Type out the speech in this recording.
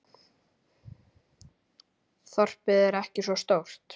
Þorpið er ekki svo stórt.